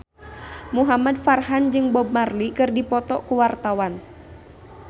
Muhamad Farhan jeung Bob Marley keur dipoto ku wartawan